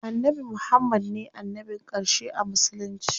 Annabi Muhammad ne annabin ƙarshe a musulunci.